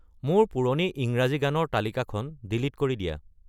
মোৰ পুৰণি ইংৰাজী গানৰ তালিকাখন ডিলিট কৰি দিয়া